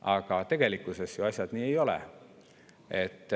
Aga tegelikkuses asjad ju nii ei ole.